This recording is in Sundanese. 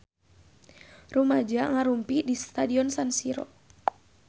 Rumaja ngarumpul di Stadion San Siro